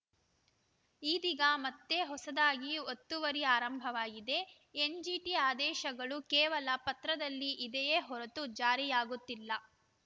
ಇದೀಗ ಮತ್ತೆ ಹೊಸದಾಗಿ ಒತ್ತುವರಿ ಆರಂಭವಾಗಿದೆ ಎನ್‌ಜಿಟಿ ಆದೇಶಗಳು ಕೇವಲ ಪತ್ರದಲ್ಲಿ ಇದೆಯೇ ಹೊರತು ಜಾರಿಯಾಗುತ್ತಿಲ್ಲ